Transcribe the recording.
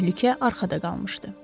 Təhlükə arxada qalmışdı.